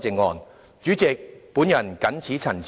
代理主席，我謹此陳辭。